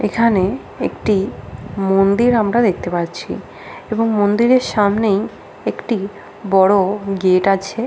এখানে একটি মন্দির আমরা দেখতে পাচ্ছি এবং মন্দিরের সামনেই একটি বড় গেট আছে।